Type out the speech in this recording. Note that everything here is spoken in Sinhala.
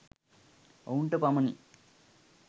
ඔවුන්ට පමණි.